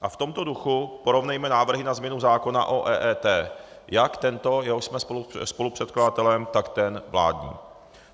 A v tomto duchu porovnejme návrhy na změnu zákona o EET, jak tento, jehož jsme spolupředkladatelem, tak ten vládní.